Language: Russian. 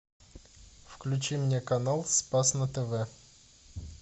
включи мне канал спас на тв